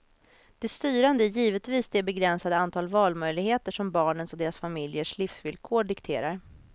Det styrande är givetvis det begränsade antal valmöjligheter som barnens och deras familjers livsvillkor dikterar.